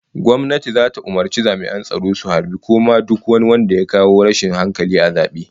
Gwamnati zata umurci jami'an tsaro su harbi ko kama duk wani wanda ya kawo rashin hankali a lokacin zabe